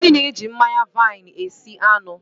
Ngozi na-eji mmanya vaini esi anụ.